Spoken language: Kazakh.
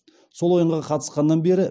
сол ойынға қатысқаннан бері